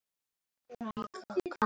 Eins og hinir tveir.